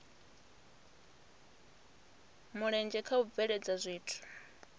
mulenzhe kha u bveledza zwithu